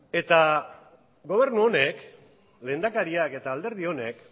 eta gobernu honek lehendakariak eta alderdi honek